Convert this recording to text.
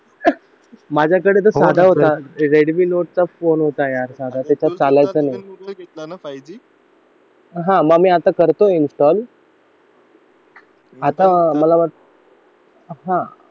माझ्याकडे तर साधा होता रेडमी नोट फोन होता यार आता त्याच्यात चालायचं नाही हा मग मी करतोतो इन्स्टॉल आता मला वाटतं हा